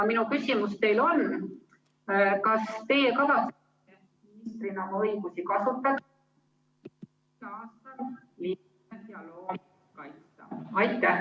Minu küsimus teile on: kas teie kavatsete keskkonnaministrina oma õigusi kasutada ... linde ja loomi kaitsta?